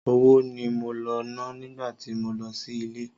Owó ni mo lọ ná nígbà tí mo lọ sí ilé.